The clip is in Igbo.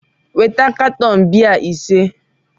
weta katọn biya ise!